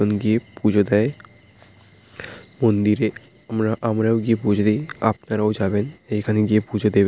মন্দিরে আমরা-আমরাও গিয়ে পূজো দি। আপনারাও যাবেন। এইখানে গিয়ে পূজো দেবেন ঠাকুরের কাছে প্রার্থনা করবেন।